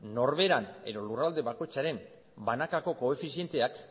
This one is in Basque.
norbera edo lurralde bakoitzaren banakako koefizienteak